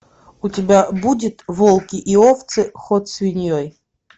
у тебя будет волки и овцы ход свиньей